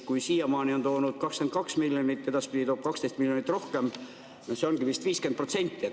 Kui siiamaani on toonud 22 miljonit, edaspidi toob 12 miljonit rohkem, siis see ongi vist 50%.